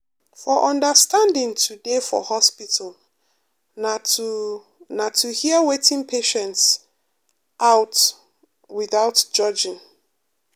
for understanding to dey for hospital na to na to hear wetin patients out without judging.